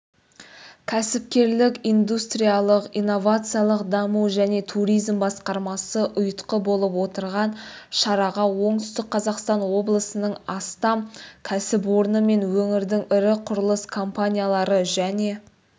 кәсіпкерлік индустриялық-инновациялық даму және туризм басқармасы ұйытқы болып отырған шараға оңтүстік қазақстан облысының астам кәсіпорны мен өңірдің ірі құрылыс компаниялары және